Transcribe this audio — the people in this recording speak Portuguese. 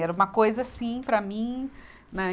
Era uma coisa assim para mim.